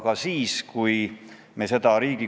Aga sellised eelnõud nagu see siin – see on häbiplekk.